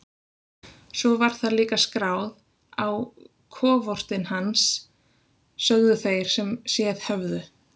Svo var það líka skráð á kofortin hans, sögðu þeir sem séð höfðu.